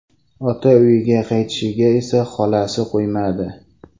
Ota uyiga qaytishiga esa xolasi qo‘ymadi.